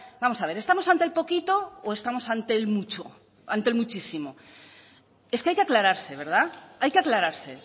vamos a ver estamos ante el poquito o estamos ante el mucho ante el muchísimo es que hay que aclararse verdad hay que aclararse